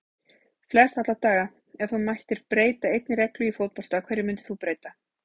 Flest alla daga Ef þú mættir breyta einni reglu í fótbolta, hverju myndir þú breyta?